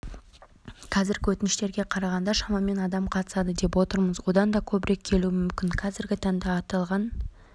қазіргі өтініштерге қарағанда шамамен адам қатысады деп отырмыз одан да көбірек келуі мүмкін қазіргі таңда аталған